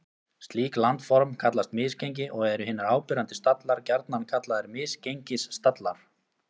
Slík landform kallast misgengi og eru hinir áberandi stallar gjarnan kallaðir misgengisstallar.